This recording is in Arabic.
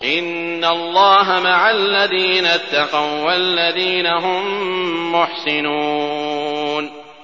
إِنَّ اللَّهَ مَعَ الَّذِينَ اتَّقَوا وَّالَّذِينَ هُم مُّحْسِنُونَ